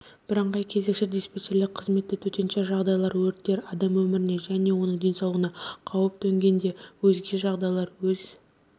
бірыңғай кезекші-диспетчерлік қызметі төтенше жағдайлар өрттер адам өміріне және оның денсаулығына қауіп төнгенде өзге жағдайларда өз